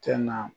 Tɛ na